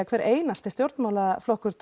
hver einasti stjórnmálaflokkur